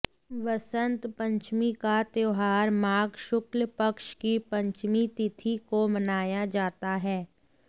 वसंत पंचमी का त्योहार माघ शुक्ल पक्ष की पंचमी तिथि को मनाया जाता है